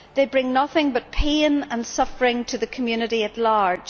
They bring nothing but pain and suffering to the community at large.